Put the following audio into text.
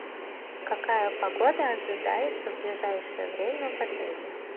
какая погода ожидается в ближайшее время в отеле